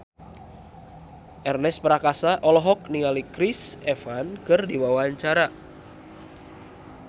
Ernest Prakasa olohok ningali Chris Evans keur diwawancara